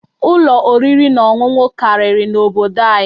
Ụlọ oriri na ọṅụṅụ karịrị n'obodo anyị.